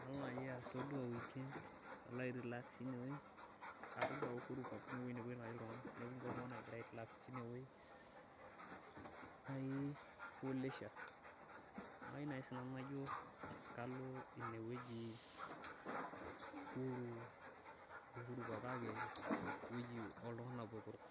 nalo naaji todua weekends, nalo airelax tine weji na ore naji uhuru park naa kepuo iltunganak airelax tineweji. Neeku kayieu naaji naa kalo sii nanu ineweji euhuru park kake eweji oltunganak botorok.